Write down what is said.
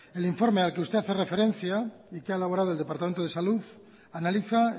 el informe al que hace referencia y que ha elaborado el departamento de salud analiza